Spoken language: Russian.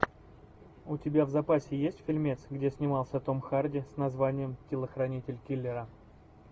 у тебя в запасе есть фильмец где снимался том харди с названием телохранитель киллера